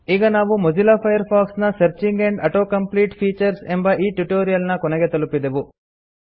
ಈಗ ನಾವು Mozilla Firefox ನ searching and auto complete features ಎಂಬ ಈ ಟ್ಯುಟೊರಿಯಲ್ ನ ಕೊನೆಗೆ ತಲುಪಿದೆವು